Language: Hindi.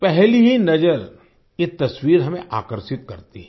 पहली ही नज़र ये तस्वीर हमें आकर्षित करती है